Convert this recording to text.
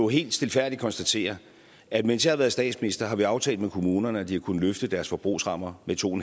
helt stilfærdigt konstatere at mens jeg har været statsminister har vi aftalt med kommunerne at de har kunnet løfte deres forbrugsrammer med to